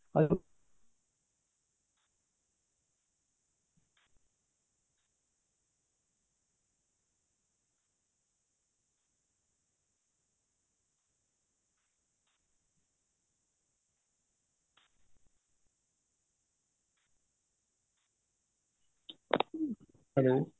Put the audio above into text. hello